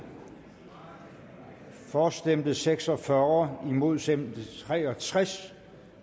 for stemte seks og fyrre imod stemte tre og tres